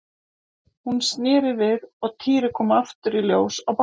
Hún sneri við og Týri kom aftur í ljós á bakkanum.